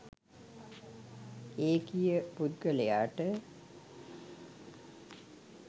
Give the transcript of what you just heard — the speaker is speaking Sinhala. ඒකීය පුද්ගලයාට